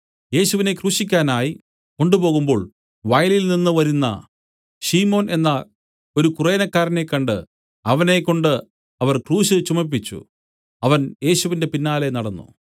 യേശുവിനെ ക്രൂശിക്കാനായി കൊണ്ടുപോകുമ്പോൾ വയലിൽനിന്നു വരുന്ന ശിമോൻ എന്ന ഒരു കുറേനക്കാരനെ കണ്ട് അവനെ കൊണ്ട് അവർ ക്രൂശ് ചുമപ്പിച്ചു അവൻ യേശുവിന്റെ പിന്നാലെ നടന്നു